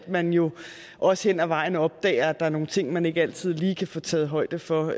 man jo også hen ad vejen opdager at der er nogle ting man ikke altid lige kan få taget højde for